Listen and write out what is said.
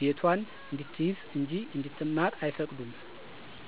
ቤቷን እንድትይዝ እንጂ እንድትማር አይፈቅዱም።